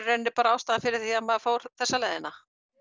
bara ástæðan fyrir því að maður fór þessa leiðina